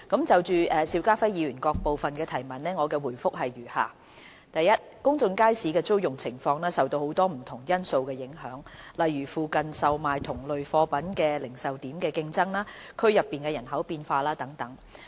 就邵家輝議員各部分的質詢，我答覆如下：一公眾街市的租用情況受到很多不同因素影響，例如附近售賣同類貨品的零售點的競爭、區內人口變化等。